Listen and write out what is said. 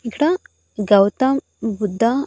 ఇక్కడ గౌతమ్ బుద్ధ--